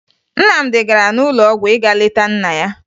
Nnamdi gara n'ụlọ ọgwụ ịga leta nna ya